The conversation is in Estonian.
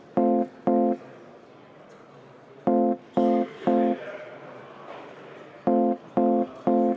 Seaduseelnõu on menetlusest välja langenud.